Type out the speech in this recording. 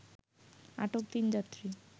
আটক তিন যাত্রী